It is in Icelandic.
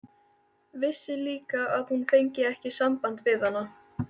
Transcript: Vissi líka að hún fengi ekki samband við hana.